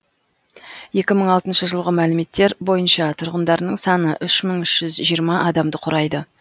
екі мың алтыншы жылғы мәліметтер бойынша тұрғындарының саны үш мың үш жүз жиырма адамды құрайды